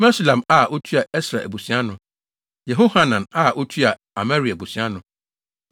Mesulam a otua Ɛsra abusua ano. Yehohanan a otua Amaria abusua ano.